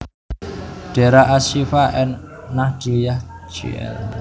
Dera As Syifa An Nahdliyah Jl